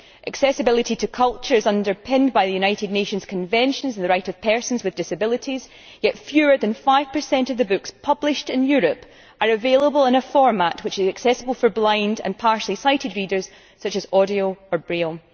Accessibility to culture is underpinned by the United Nations Convention on the Rights of Persons with Disabilities, yet fewer than 5 of the books published in Europe are available in a format which is accessible for blind and partially sighted readers, such as audio or braille.